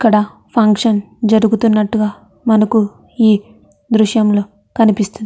ఇక్కడ ఫంక్షన్ జరుగుతున్నటుగా మనకు ఈ దృశ్యం లో కనిపి --